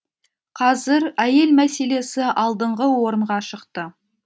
қазір әйел мәселесі алдыңғы орынға шықты